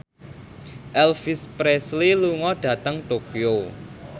Elvis Presley lunga dhateng Tokyo